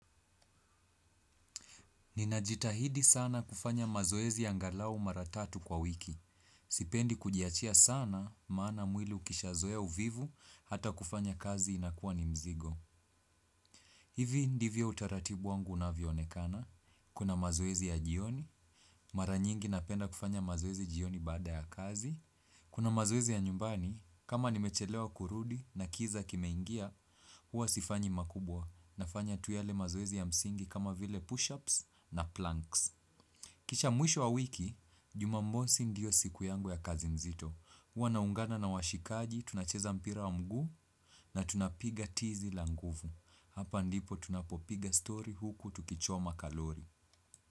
Ninajitahidi sana kufanya mazoezi angalau mara tatu kwa wiki. Sipendi kujiachia sana maana mwili ukishazoe uvivu hata kufanya kazi inakuwa ni mzigo. Hivi ndivyo utaratibu wangu unavyoonekana. Kuna mazoezi ya jioni. Mara nyingi napenda kufanya mazoezi jioni baada ya kazi. Kuna mazoezi ya nyumbani. Kama nimechelewa kurudi na kiza kimeingia, huwa sifanyi makubwa na fanya tu yale mazoezi ya msingi kama vile push-ups na planks. Kisha mwisho wa wiki, jumamosi ndio siku yangu ya kazi mzito. Huwa naungana na washikaji, tunacheza mpira wa mguu na tunapiga tizi la nguvu. Hapa ndipo tunapopiga story huku tukichoma kalori.